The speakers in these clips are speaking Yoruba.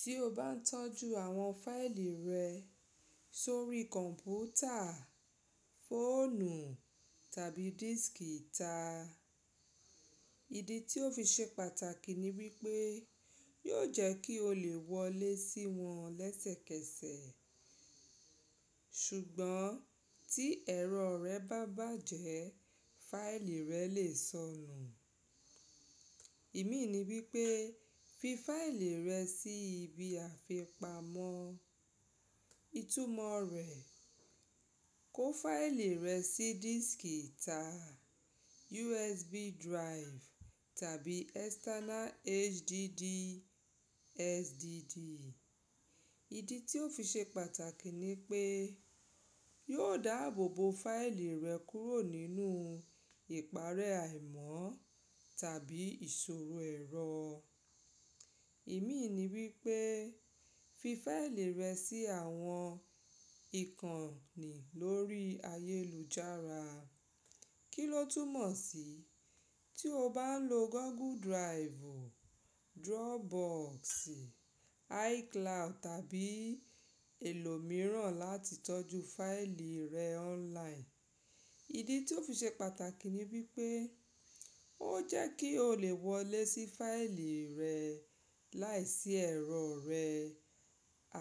Tí o bá n tọ́jú àwọn fáìlì rẹ sórí kọ̀ǹpútà, fóònù tàbí dískì ìta, ìdí tí ó fi ṣe pàtàkì ni wípé yóò jẹ́ kí o lè wọlé sí wọn lẹ́sẹ̀kẹsẹ̀. Ṣùgbọ́n tí ẹ̀rọ rẹ bá bàjẹ́, fáìlì rẹ lè sọnù. Ìmí ní wípé fi fáìlì rẹ sí ibi àfipamọ́. Itúmọ̀ rẹ̀, kó fáìlì rẹ sí dískì ìta, USB drive tàbí external HDD, SDD. Ìdí tí ó fi ṣe pàtàkì ni pé yóò dáàbò bo fáìlì rẹ kúrò nínú ìparé àìmọ́ tàbí ìṣòro ẹ̀rọ. Ìmí ní wípé fi fáìlì rẹ sí àwọn ìkànnì lórí ayélujára. Kí ló túmọ̀ sí tí o bá n lo Google Drive, Dropbox, iCloud tàbí èlò mìíràn láti tọ́jú fáìlì rẹ online. Ìdí tí ó fi ṣe pàtàkì ni wípé ó jẹ́ kí o lè wọlé sí fáìlì rẹ láìsí ẹ̀rọ rẹ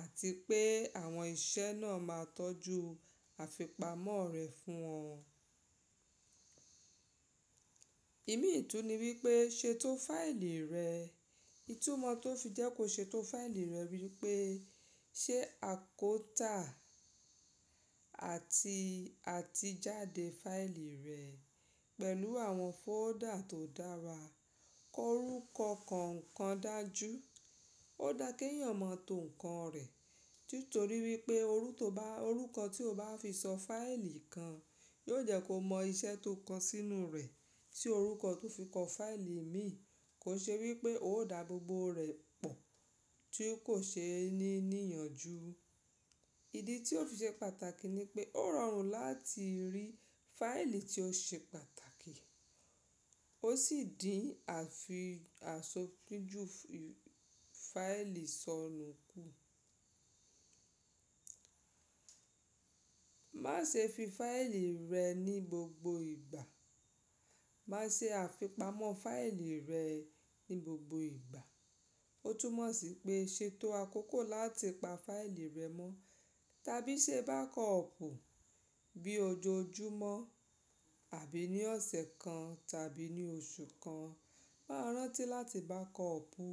àti pé àwọn iṣẹ́ náà máa tọ́jú àfipamọ́ rẹ fún ọ. Ìmí ìtú ni wípé ṣètò fáìlì rẹ. Itúmọ̀ tó fi jẹ́ kó ṣètò fáìlì rẹ wípé ṣe àkótà àti àtijade fáìlì rẹ pẹ̀lú àwọn fóọ́dà tó dára. Ko orúkọ kọ̀ọ̀kan dájú. Ó dáa kí èèyàn mọ̀ tó ǹkan rẹ̀ nítorí wípé orúkọ tí o bá fi sọ fáìlì kan yóò jẹ́ kó mọ iṣẹ́ tó kọ sínú rẹ̀. Tí orúkọ tó fi kọ fáìlì ìmí kò ṣe wípé ó dáàbò bo rẹ̀ pọ̀ tí kò ṣe é ní níyànjú. Ìdí tí ó fi ṣe pàtàkì ni pé ó rọrùn láti rí fáìlì tí ó ṣe pàtàkì. Ó sì dín àfi àsopínjú fáìlì sọnù kù. Má ṣe fi fáìlì rẹ ní gbogbo ìgbà. Má ṣe àfipamọ́ fáìlì rẹ ní gbogbo ìgbà. Ó tún mọ̀ sí pé ṣètò àkókò láti pa fáìlì rẹ mọ́ tàbí ṣe bàkọọ̀pù bí ojoojúmọ́ àbí ní ọ̀sẹ̀ kan tàbí ní oṣù kan. Máa rántí láti bákọọ̀pù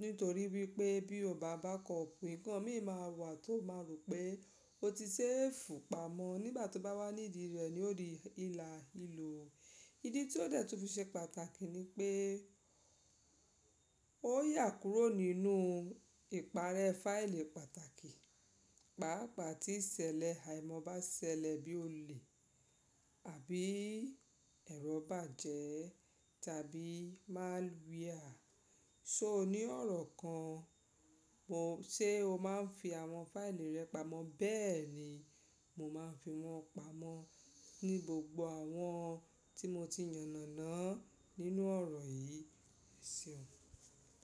nítorí wípé bí o ò bá bá kọọ̀pù, ǹkan mìíràn máa wà tó máa rò pé ó ti ṣẹ́ẹ̀fù pamọ́ nígbà tó bá wá níìdí rẹ̀ ni ó rí ìlà ìlò. Ìdí tí ó dẹ̀ tún fi ṣe pàtàkì ni pé ó yà kúrò nínú ìparẹ́ fáìlì pàtàkì. Pàápàá tí ìṣẹ̀lẹ̀ àìmọ́ bá ṣẹlẹ̀ bí ó le àbí ẹ̀rọ bá jẹ́ tàbí máa lu ìhà. So ni ọ̀rọ̀ kan ṣe o máa ń fi àwọn fáìlì rẹ pamọ́ bẹ́ẹ̀ ni mo máa ń fi wọn pamọ́ ní gbogbo àwọn tí mo ti yànnàná nínú ọ̀rọ̀ yìí. Ẹ̀ṣeun.